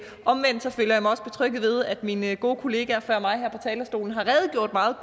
mig også betrygget ved at mine gode kollegaer før mig her på talerstolen har redegjort meget